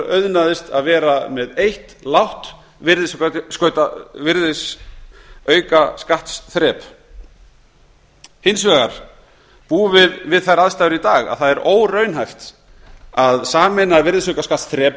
auðnaðist að vera með eitt lágt virðisaukaskattsþrep hins vegar búum við við þær aðstæður í dag að það er óraunhæft að sameina